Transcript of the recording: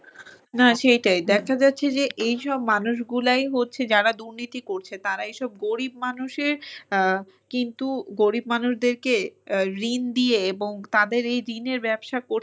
না সেইটাই। দেখা যাচ্ছে যে এইসব মানুষগুলাই হচ্ছে যারা দুর্নীতি করছে তারা এসব গরিব মানুষের আহ কিন্তু গরিব মানুষদেরকে ঋণ দিয়ে এবং তাদের এই ঋণের ব্যবসা করতে গিয়ে